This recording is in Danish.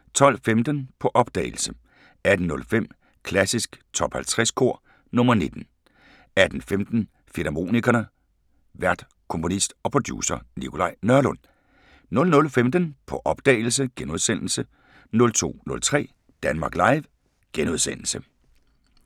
12:15: På opdagelse 18:05: Klassisk Top 50 Kor – nr. 19 18:15: Filmharmonikerne: Vært komponist og producer Nikolaj Nørlund 00:15: På opdagelse * 02:03: Danmark Live *